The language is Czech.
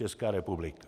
Česká republika.